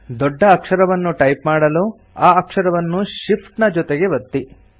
ದೊಡ್ಡ ಅಕ್ಷರವನ್ನು ಟೈಪ್ ಮಾಡಲು ಆ ಅಕ್ಷರವನ್ನು Shift ನ ಜೊತೆಗೆ ಒತ್ತಿ